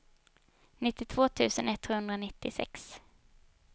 nittiotvå tusen etthundranittiosex